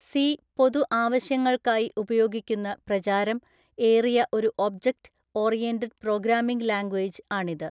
C പൊതു ആവശ്യങ്ങൾക്കായി ഉപയോഗിക്കുന്ന പ്രചാരം ഏറിയ ഒരു ഓബ്ജക്റ്റ് ഓറിയന്റഡ് പ്രോഗ്രാമിംഗ് ലാംഗുവേജ് ആണിത്.